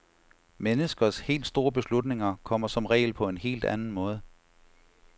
Menneskers helt store beslutninger kommer som regel på en helt anden måde.